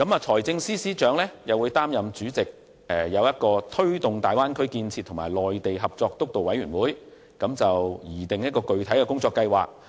由政務司司長擔任主席的推進大灣區建設及內地合作督導委員會，將會擬訂具體的工作計劃。